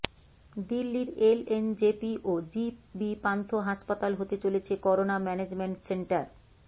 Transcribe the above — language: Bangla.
দিল্লির এলএনজেপি ও জি বি পান্থ হাসপাতাল হতে চলেছে করোনা ম্যানেজমেন্ট সেন্টার